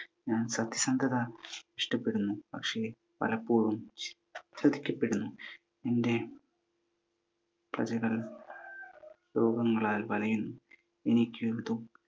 ഞാൻ സത്യസന്ധത ഇഷ്ടപ്പെടുന്നു. പക്ഷെ പലപ്പോഴും ചതിക്കപ്പെടുന്നു. എൻ്റെ പ്രജകൾ രോഗങ്ങളാൽ വലയുന്നു. എനിക്ക്